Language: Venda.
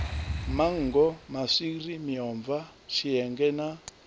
manngo maswiri miomva tshienge na